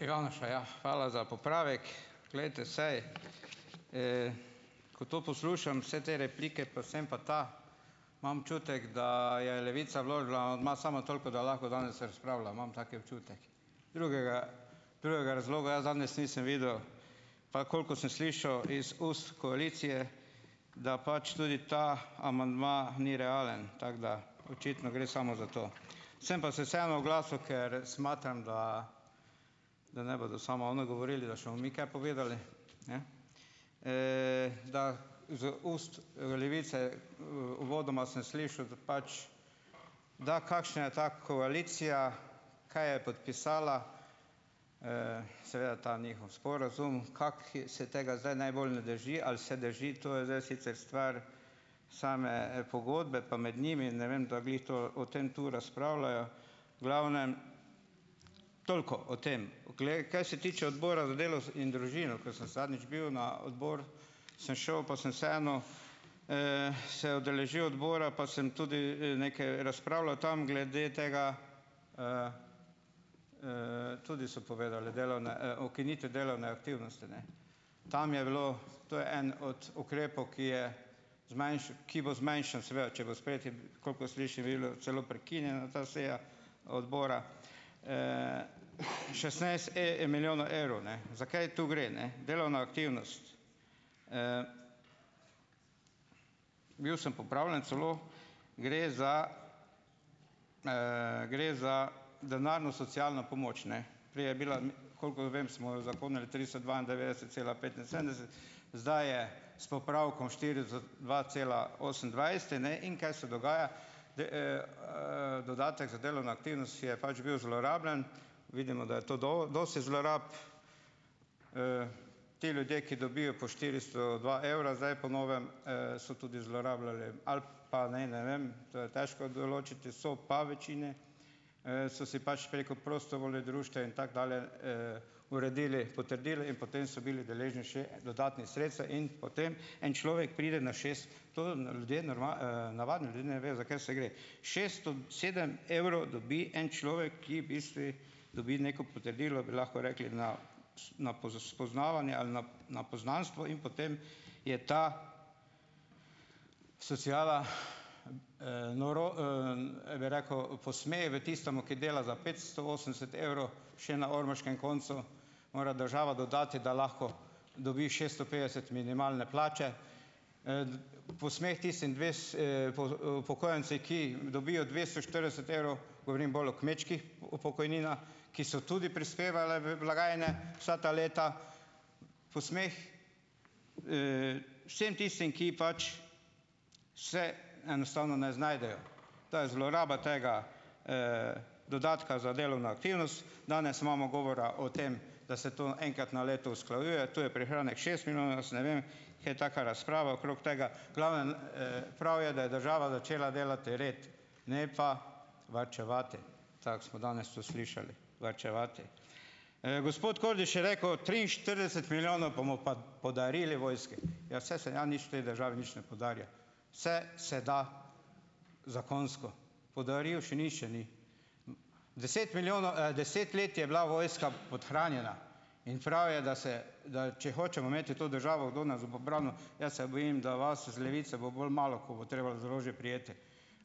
Ivanuša, ja, hvala za popravek. Glejte, saj, ko to poslušam, vse te replike, pa sem pa ta, imam da je Levica vložila amandma, samo toliko, da lahko danes razpravlja. Imam tak občutek. Drugega, drugega razloga jaz danes nisem videl, pa koliko sem slišal iz ust koalicije, da pač tudi ta amandma ni realen tako, da očitno gre samo za to. Sem pa se vseeno oglasil, ker smatram, da da ne bodo samo oni govorili, da še mi kaj povedali, ne. da z ust, Levice, uvodoma sem slišal, da pač, da kakšna je ta koalicija, kaj je podpisala, seveda ta njihov sporazum, kako se tega zdaj najbolj ne drži ali se drži. To je zdaj sicer stvar, same, pogodbe, pa med njimi, ne vem, da glih to o tem tu razpravljajo. V glavnem, toliko o tem. Poglej, kaj se tiče odbora za delo in družino, ke sem zadnjič bil, na odbor, sem šel, pa sem vseeno, se udeležil odbora, pa sem tudi, nekaj razpravljal tam glede tega, tudi so povedali, delovne ukinitve delovne aktivnosti, ne. Tam je bilo, to je en od ukrepov, ki je ki bo zmanjšan seveda, če bo sprejet, celo prekinjena ta seja odbora, šestnajst milijonov evrov, ne. Za kaj tu gre, ne, delovna aktivnost, Bil sem popravljen celo, gre za, gre za denarno socialno pomoč, ne. Prej je bila koliko vem, smo jo uzakonili tristo dvaindevetdeset cela petinsedemdeset, zdaj je, s popravkom dva cela osemindvajset, ne, in kaj se dogaja? dodatek za delovno aktivnost je pač bil zlorabljen. Vidimo, da je to dosti zlorab. Ti ljudje, ki dobijo po štiristo dva evra, zdaj po novem, so tudi zlorabljali ali pa naj, ne vem, to je težko določiti, so pa večini, so si pač preko društev in tako dalje, uredili, potrdili in potem so bili deležni še dodatnih sredstev in potem, en človek pride na navadni ljudje ne vejo, za kaj se gre. Šeststo sedem evrov dobi en človek, ki v bistvu dobi neko potrdilo, bi lahko rekli, na na spoznavanje ali na na poznanstvo, in potem je ta sociala, bi rekel, posmeh v tistemu, ki dela za petsto osemdeset evrov, še na ormoškem koncu mora država dodati, da lahko dobi šeststo petdeset minimalne plače, posmeh tistim upokojence, ki dobijo dvesto štirideset evrov, govorim bolj o kmečkih pokojninah, ki so tudi prispevale v blagajne vsa ta leta, posmeh, vsem tistim, ki pač se enostavno ne znajdejo. To je zloraba tega, dodatka za delovno Danes imamo govora o tem, da se to enkrat na leto usklajuje, tu je prihranek šest milijonov, jaz ne vem, kje taka razprava okrog tega, glavnem, prav je, da je država začela delati red, ne pa varčevati, tako smo danes to slišali, varčevati. Gospod Kordiš je rekel, triinštirideset milijonov bomo pa podarili vojski. Ja, saj se ja nič v tej državi nič ne podarja. Vse se da zakonsko, podaril še nihče ni. Deset milijonov, deset let je bila vojska podhranjena in prav je, da se, da, če hočemo imeti to državo, kdo nas bo pa branil, jaz se bojim, da vas z Levice bo bolj malo, ko, bo treba za orožje prijeti.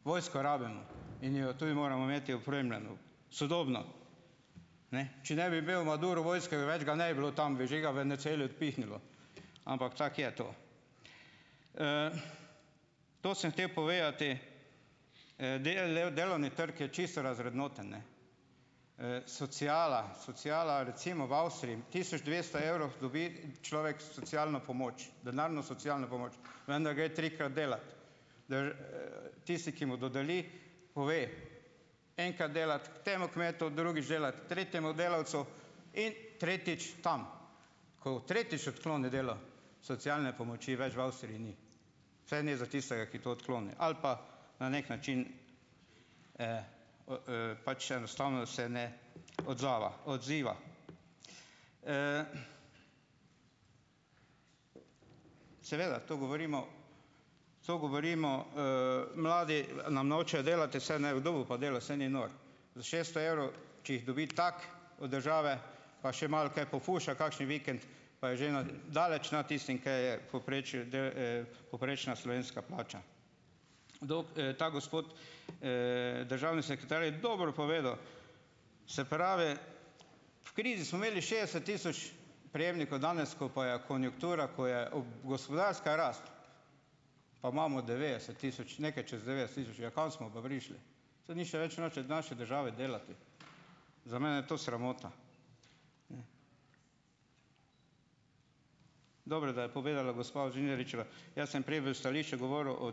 Vojsko rabimo in jo tudi moramo imeti opremljeno, sodobno. Ne. Če ne bi imel Maduro vojske, več ga ne bi bilo tam, bi že ga Venezueli odpihnilo, ampak tako je to. To sem hotel povedati, delovni trg je čisto razvrednoten, ne. Sociala, sociala recimo v Avstriji tisoč dvesto evrov dobi človek socialno pomoč, denarno socialno pomoč, vendar gre trikrat delat. Tisti, ki mu dodeli, pove, enkrat delat k temu kmetu, drugič delati ker tretjemu delavcu in tretjič tam. Ko tretjič odkloni delo, socialne pomoči več v Avstriji ni, vsaj ne za tistega, ki to odkloni ali pa, na neki način, pač enostavno se ne odzava, odziva. Seveda, tu govorimo, tu govorimo, mladi nam nočejo delati, saj ne, kdo bo pa delal, saj ni nor. Za šeststo evrov, če jih dobi tako od države, pa še malo kaj pofuša, kakšen vikend, pa je že na daleč nad tistim, kaj je v povprečju povprečna slovenska plača. Kdo, ta gospod, državni sekretar, je dobro povedal. Se pravi, v krizi smo imeli šestdeset tisoč prejemnikov, danes, ko pa je konjunktura, ko je ob gospodarska pa imamo devetdeset tisoč, nekaj čez devetdeset tisoč. Ja, kam smo pa prišli? Saj nihče več noče v naši državi delati. Za mene je to sramota. Dobro, da je povedala gospa Žnidaričeva, jaz sem prej v stališču govoril o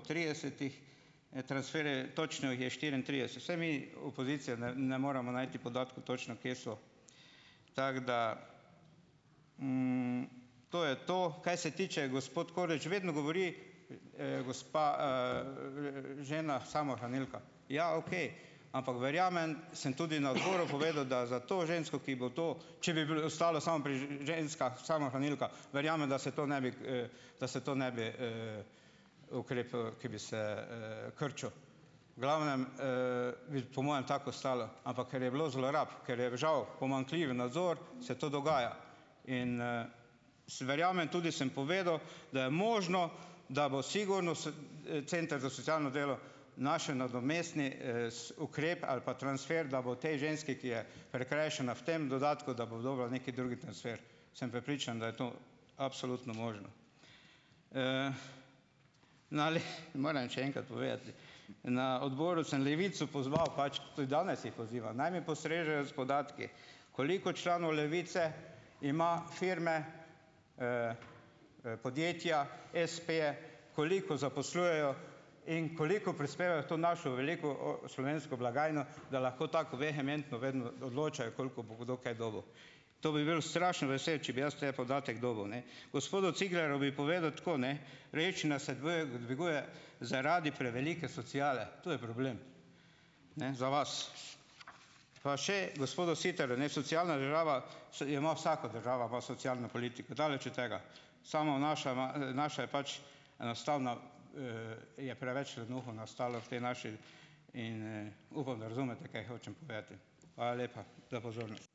tridesetih, točno jih je štiriintrideset. Saj mi, opozicija, ne ne moremo najti podatkov točno, kje so, tako da, to je to. Kaj se tiče, gospod Kordiš vedno govori, gospa, žena samohranilka. Ja, okej, ampak verjamem, sem tudi na odboru povedal, da za to žensko, ki bo to, če bi ostalo samo pri ženskah samohranilkah, verjamem, da se to ne bi, da se to ne bi, ukrep, ki bi se, krčil. V glavnem, bi po mojem tako ostalo. Ampak ker je bilo zlorab, ker je žal pomanjkljiv nadzor, se to dogaja. In, verjamem, tudi sem povedal, da je možno, da bo sigurno center za socialno delo nadomestni, ukrep ali pa transfer, da bo tej ženski, ki je prikrajšana v tem dodatku, da bo dobila neki drugi transfer, sem prepričan, da je to absolutno možno. Na morem še enkrat povedati, na odboru sem Levico pozval, pač tudi danes jih pozivam, naj mi postrežejo s podatki, koliko članov Levice ima firme, podjetja, espeje, koliko zaposlujejo in koliko prispevajo v to našo veliko slovensko blagajno, da lahko tako vehementno vedno odločajo, koliko bo kdo kaj dobil. To bi bil strašno vesel, če bi jaz te podatek dobil, ne. Gospodu Ciglerju bi povedal tako, ne dviguje zaradi prevelike sociale, to je problem ne, za vas. Pa še gospodu Siterju, ne. Socialna država jo ima vsaka država ima socialno politiko, daleč od tega, samo naša ima, naša je pač enostavno, je preveč lenuhov nastalo v tej naši in, upam, da razumete, kaj hočem povedati. Hvala lepa za pozornost.